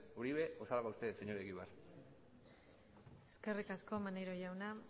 uribe o salga usted señor egibar eskerrik asko maneiro jauna